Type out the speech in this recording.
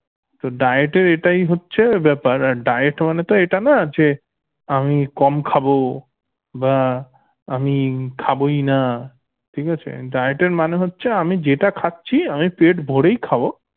তো diet এর এটাই হচ্ছে ব্যাপার diet মানে তো এটা না যে আমি কম খাবো বা আমি খাবই না ঠিক আছে diet এর মানে হচ্ছে আমি যেটা খাচ্ছি আমি পেট ভরেই খাবো